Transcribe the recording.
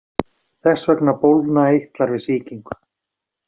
Þess vegna bólgna eitlar við sýkingu.